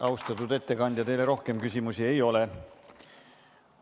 Austatud ettekandja, teile rohkem küsimusi ei ole.